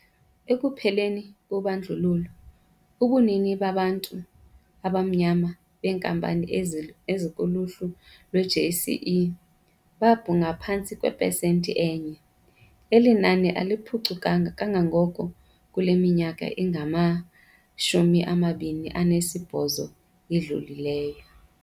Ekupheleni kobandlululo, ubunini babantu abamnyama beenkampani ezikuluhlu lwe-JSE babungaphantsi kwepesenti enye. Eli nani aliphucukanga kangako kule minyaka ingama-28 idlulileyo.